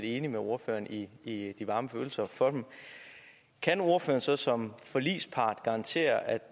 enig med ordføreren i i de varme følelser for dem kan ordføreren så som forligspart garantere at